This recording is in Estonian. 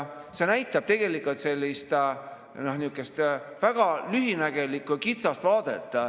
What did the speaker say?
See näitab sellist väga lühinägelikku ja kitsast vaadet.